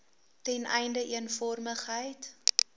ten einde eenvormigheid